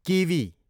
kiwi